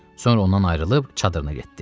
Sonra ondan ayrılıb çadırına getdi.